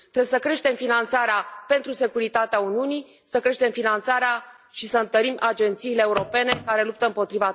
Trebuie să creștem finanțarea pentru securitatea Uniunii, să creștem finanțarea și să întărim agențiile europene care luptă împotriva terorismului.